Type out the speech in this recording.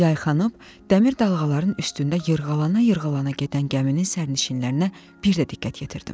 Yayxanıb, dəmir dalğaların üstündə yırğalana-yırğalana gedən gəminin sərnişinlərinə bir də diqqət yetirdim.